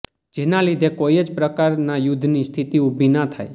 જેના લીધે કોઈ જ પ્રકારના યુદ્ધની સ્થિતિ ઉભી ના થાય